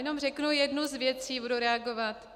Jenom řeknu jednu z věcí, budu reagovat.